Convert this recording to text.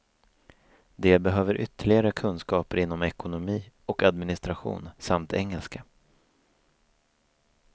De behöver ytterligare kunskaper inom ekonomi och administration samt engelska.